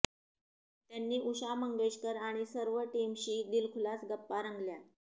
त्यांनी उषा मंगेशकर आणि सर्व टीमशी दिलखुलास गप्पा रंगल्या